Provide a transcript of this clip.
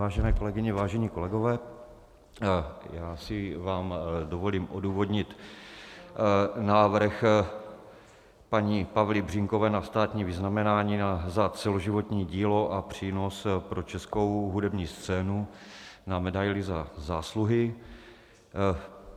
Vážené kolegyně, vážení kolegové, já si vám dovolím odůvodnit návrh paní Pavly Břínkové na státní vyznamenání za celoživotní dílo a přínos pro českou hudební scénu na medaili Za zásluhy.